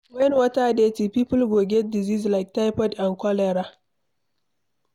When water dirty, people go get disease like typhoid and cholera